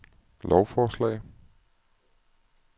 lovforslag